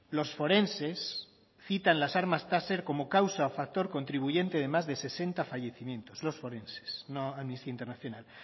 los forenses citan las armas taser como causa o factor contribuyente de más de sesenta fallecimientos los forenses no amnistía internacional